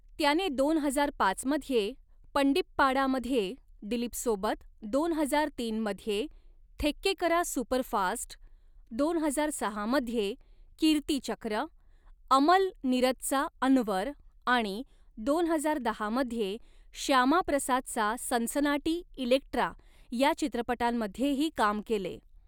त्याने दोन हजार पाच मध्ये 'पंडीप्पाडा' मध्ये दिलीपसोबत, दोन हजार तीन मध्ये 'थेक्केकरा सुपरफास्ट', दोन हजार सहा मध्ये 'कीर्तीचक्र', अमल नीरदचा 'अन्वर' आणि दोन हजार दहा मध्ये श्यामाप्रसादचा सनसनाटी 'इलेक्ट्रा' या चित्रपटांमध्येही काम केले.